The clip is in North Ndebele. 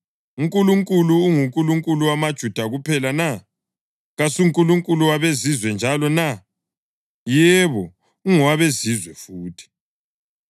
UNkulunkulu unguNkulunkulu wamaJuda kuphela na? KasuNkulunkulu wabeZizwe njalo na? Yebo, ungowabeZizwe futhi,